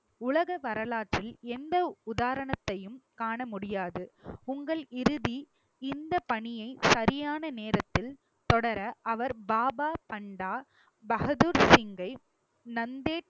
உலக வரலாற்றில் எந்த உதாரணத்தையும் காண முடியாது உங்கள் இறுதி இந்தப் பணியை சரியான நேரத்தில் தொடர அவர் பாபா பண்டா பகதூர் சிங்கை நந்தேட்